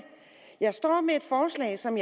jeg står med et forslag som